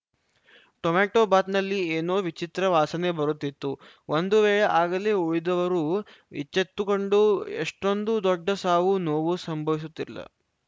tomato ಬಾತ್‌ನಲ್ಲಿ ಏನೋ ವಿಚಿತ್ರ ವಾಸನೆ ಬರುತ್ತಿತ್ತು ಒಂದು ವೇಳೆ ಆಗಲೇ ಉಳಿದವರು ಎಚ್ಚೆತ್ತುಕೊಂಡು ಇಷ್ಟೊಂದು ದೊಡ್ಡ ಸಾವು ನೋವು ಸಂಭವಿಸುತ್ತಿರಲಿಲ್ಲ